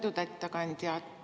Lugupeetud ettekandja!